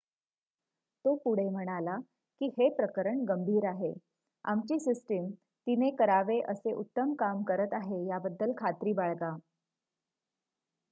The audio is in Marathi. "तो पुढे म्हणाला की "हे प्रकरण गंभीर आहे. आमची सिस्टम तिने करावे असे उत्तम काम करत आहे याबद्दल खात्री बाळगा.""